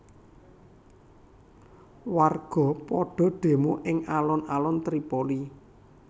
Warga padha demo ing alun alun Tripoli